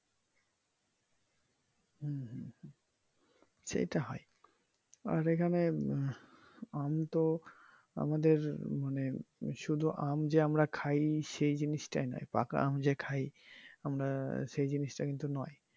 সেটাই হয় আর এখানে হম আমিতো আমদের মানে শুধু আম যে আমরা খাই সেই জিনিস টা নাই পাকা আম যে খাই আমরা সেই জিনিস টা কিন্তু নয়।